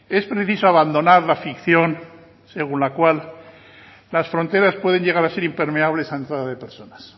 es preciso abandonar la ficción según la cual las fronteras pueden llegar a ser impermeables a la entrada de personas